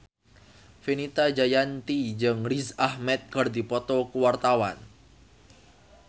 Fenita Jayanti jeung Riz Ahmed keur dipoto ku wartawan